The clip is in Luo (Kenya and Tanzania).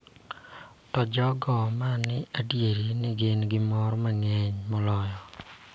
To jogo ma adier ni gin gi mor mang�eny moloyo .